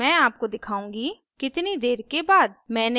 मैं आपको दिखाउंगी कितनी देर के बाद